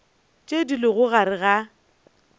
tše di lego gare ga